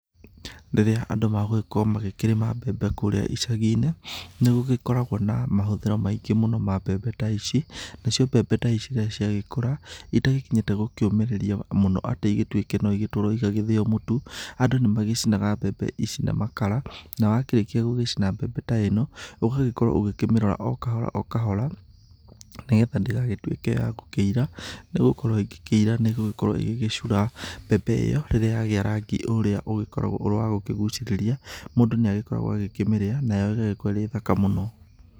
Rĩrĩa andũ magũgĩkorwo magĩkĩrĩma mbebe kũrĩa icagi-inĩ, nĩ gũgĩkoragwo na mahũthĩro maingĩ mũno ma mbebe ta ici, na cio mbebe ta ici rĩrĩa ciagĩkũra, itagĩkinyĩte gũkĩũmĩrĩria mũno atĩ igĩtuĩke no igĩtwarwo igagĩthĩo mũtu, andũ nĩ magĩcinaga mbebe ici na makara, na wakĩrĩkia gũgĩcina mbebe ta ĩno, ũgagĩkorwo ũkĩmĩrora o kahora o kahora, nĩ getha ndĩgagĩtuĩke ya gũkĩira, nĩ gũkorwo ingĩkĩira nĩ ĩgũkorwo ĩgĩgĩcura. Mbebe ĩyo rĩrĩa yagĩa rangi ũrĩa ũgĩkoragwo ũrĩ wa gũkĩgucĩrĩria, mũndũ nĩ agĩkoragwo agĩkĩmĩrĩa na ĩgagĩkorwo ĩrĩ thaka mũno.